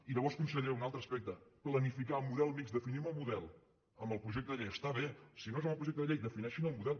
i llavors conseller un altre aspecte planificar model mixt definim el model amb el projecte de llei està bé si no és amb el projecte de llei defineixin el model